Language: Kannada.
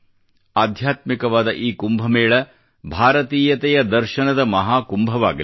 ಆಧ್ಯಾತ್ಮಿಕವಾದ ಈ ಕುಂಭ ಮೇಳ ಭಾರತೀಯತೆಯ ದರ್ಶನದ ಮಹಾ ಕುಂಭವಾಗಲಿ